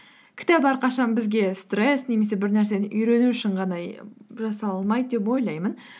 кітап әрқашан бізге стресс немесе бір нәрсені үйрену үшін ғана жасалмайды деп ойлаймын